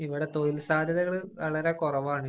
ഇവിടെ തൊഴില്‍ സാധ്യതകള്‍ വളരെ കുറവാണ്.